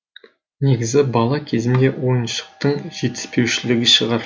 негізі бала кезімде ойыншықтың жетіспеушілігі шығар